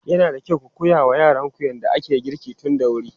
Yana da kyau ku koya wa yaranku yadda ake girki tun da wuri.